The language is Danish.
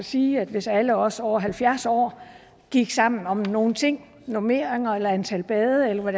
sige at hvis alle os over halvfjerds år gik sammen om nogle ting normeringer eller antal bade eller hvad